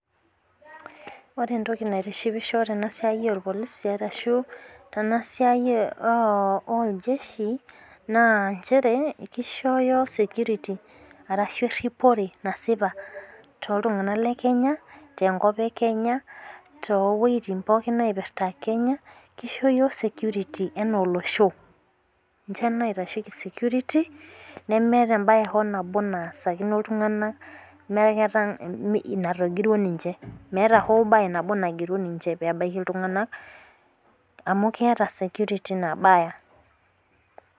Ore entoki naitishipisho tena siai oo ir Polisi arashu tena siai oo il jeshi naa nchere kishoyo security arashu eripore nasipa too iltung'ana le Kenya te nkop ee Kenya too wejitin pookin naipirta Kenya kisho iyiok security anaa olosho. Ninche loitasheki security neemeta hoo ebae nabo naasakino iltung'ana mee natogiruo ninche. Meeta hoo duo bae nagiru ninche peebaki iltung'ana amu keeta security nabaya.